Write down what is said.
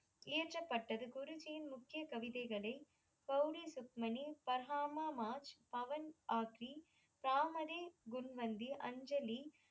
இயற்றப்பட்டது குருஜியின் முக்கிய கவிதைகளை கௌரி சுக்மணி பர்ஹாமா மாஜ் பவன் ஆத்திரி ராமனே முன்வந்தி அஞ்சலி